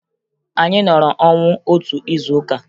Anyị nọrọ ọnwụ otu izuụka